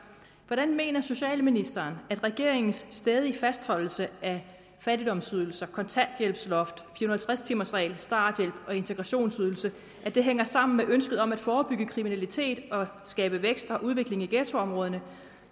hvordan mener socialministeren at regeringens stædige fastholdelse af fattigdomsydelser kontanthjælpsloft fire og halvtreds timers regel starthjælp og integrationsydelse hænger sammen med ønsket om at forebygge kriminalitet og skabe vækst og udvikling i ghettoområderne